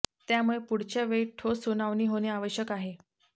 त्यामुळे पुढच्या वेळी ठोस सुनावणी होणे आवश्यक आहे